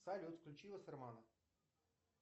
салют включи вассермана